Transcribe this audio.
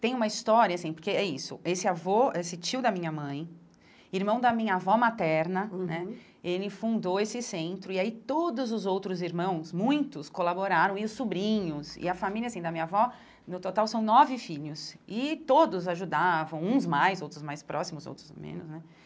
Tem uma história, assim, porque é isso, esse avô, esse tio da minha mãe, irmão da minha avó materna, uhum né, ele fundou esse centro e aí todos os outros irmãos, muitos, colaboraram, e os sobrinhos, e a família, assim, da minha avó, no total são nove filhos, e todos ajudavam, uns mais, outros mais próximos, outros menos, né.